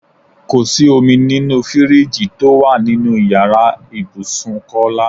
Kò sí omi nínú fíríìjiì tó wà nínú ìyára ibùsùn Kọ́lá.